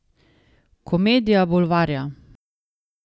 Komedija bulvarja.